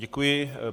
Děkuji.